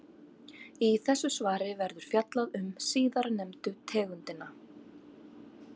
Í þessu svari verður fjallað um síðarnefndu tegundina.